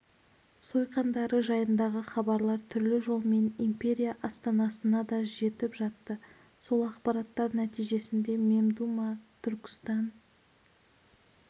сойқандары жайындағы хабарлар түрлі жолмен империя астанасына да жетіп жатты сол ақпараттар нәтижесінде мемдума түркістан